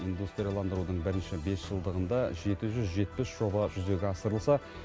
индустрияландырудың бірінші бесжылдығында жеті жүз жетпіс жоба жүзеге асырылса